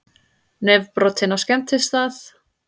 Nefbrotinn á skemmtistað